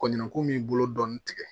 Kɔɲɔnko min bolo dɔɔnin tigɛ